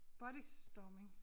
Body storming